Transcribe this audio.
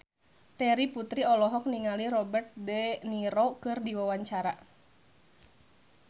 Terry Putri olohok ningali Robert de Niro keur diwawancara